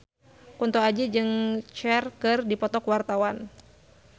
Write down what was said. Kunto Aji jeung Cher keur dipoto ku wartawan